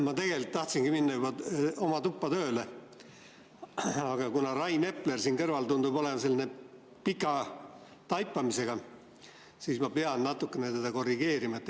Ma tegelikult tahtsin minna oma tuppa tööle, aga kuna Rain Epler siin kõrval tundub olema sellise pika taipamisega, siis ma pean teda natukene korrigeerima.